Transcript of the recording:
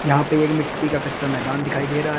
यहां पे एक मिट्टी का एक कच्चा मैदान दिखाई दे रहा है।